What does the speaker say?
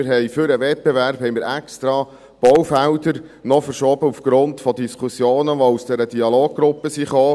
Wir haben für den Wettbewerb noch extra Baufelder verschoben, aufgrund von Diskussionen, die aus dieser Dialoggruppe kamen.